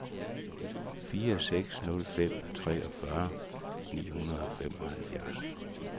fire seks nul fem treogfyrre ni hundrede og femoghalvfjerds